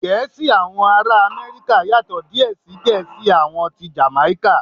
Gẹ̀ẹ́sì àwọn ará Amẹ́ríkà yàtò díè sí Gẹ̀ẹ́sì tí àwọn Jàmáíkà.